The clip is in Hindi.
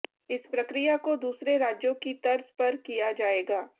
इस प्रक्रिया को दूसरे राज्यों की तर्ज पर किया जाएगा